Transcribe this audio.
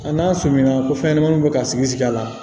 Nka n'a sɔmina ko fɛn ɲɛnamaninw bɛ ka sigi sigi a la